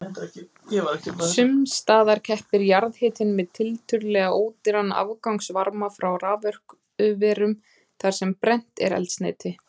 Sums staðar keppir jarðhitinn við tiltölulega ódýran afgangsvarma frá raforkuverum þar sem brennt er eldsneyti.